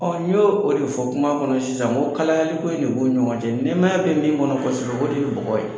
Ɔ n y'o o de fɔ kuma kɔnɔ sisan n ko kalayali ko in de bɛ u ni ɲɔgɔn cɛ nɛmaya bɛ min kɔnɔ kosɛbɛ, o de ye bɔgɔ ye.